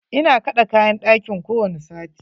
Ina kaɗe kayan ɗakin kowani sati.